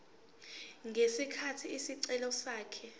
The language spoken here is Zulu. ngesikhathi isicelo sakhe